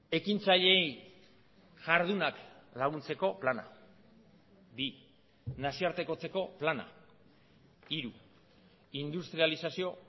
ekintzaileei jardunak laguntzeko plana bi nazioartekotzeko plana hiru industrializazio